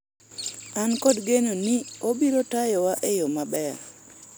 an kod geno ni obiro tayo wa e yoo maber